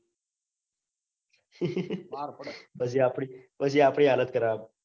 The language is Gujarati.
આપડી પછી આપડી હાલત ખરાબ.